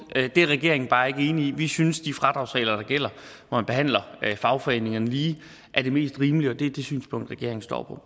det er regeringen bare ikke enig i vi synes de fradragsregler der gælder hvor man behandler fagforeningerne lige er det mest rimelige og det er det synspunkt regeringen står